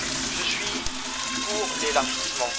Je suis pour l'élargissement.